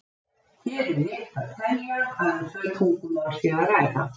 hér er rétt að telja að um tvö tungumál sé að ræða